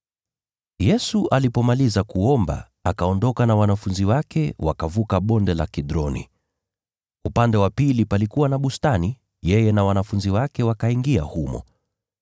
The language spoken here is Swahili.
Yesu alipomaliza kuomba, akaondoka na wanafunzi wake wakavuka Bonde la Kidroni. Upande wa pili palikuwa na bustani, yeye na wanafunzi wake wakaingia humo.